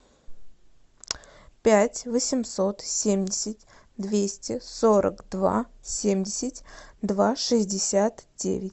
пять восемьсот семьдесят двести сорок два семьдесят два шестьдесят девять